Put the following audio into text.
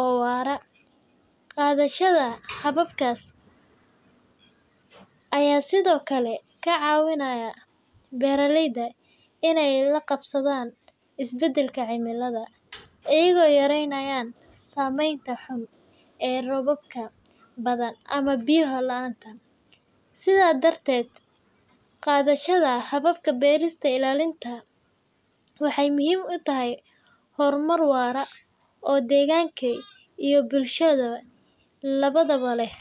oo waara. Qaadashada hababkaas ayaa sidoo kale ka caawiya beeralayda inay la qabsadaan isbeddelka cimilada, iyagoo yareynaya saameynta xun ee roobabka badan ama biyo la’aanta. Sidaas darteed, qaadashada hababka beerista ilaalinta waxay muhiim u tahay horumar waara oo deegaan iyo bulsho labadaba leh.